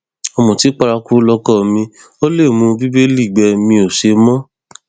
ọmùtí paraku lọkọ mi ò lè mú bíbélì gbẹ mi ò ṣe mọ